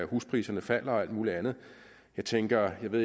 huspriserne falder og alt muligt andet jeg tænker at